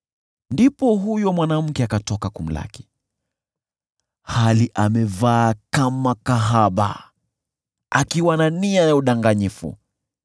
Ndipo huyo mwanamke akatoka kumlaki, hali amevaa kama kahaba akiwa na nia ya udanganyifu.